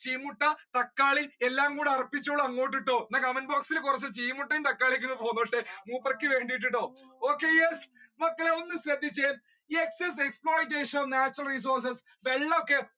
ചീന മുട്ട തക്കാളി എല്ലാം കൂടി അർപ്പിച്ചോളു അങ്ങോട്ട് എന്നാൽ comment box ഇൽ ചീന മുട്ട തക്കാളിയും ഒക്കെ പോന്നോട്ടെ മൂപ്പർക്ക് വേണ്ടിയിട്ട് okay yes മക്കളെ ഒന്ന് ശ്രദ്ധിച്ചേ excess exploitation of natural resources വെള്ളം ഒക്കെ